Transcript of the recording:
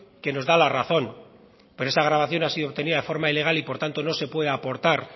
que nos da la razón pero esa grabación ha sido obtenida de forma ilegal y por tanto no se puede aportar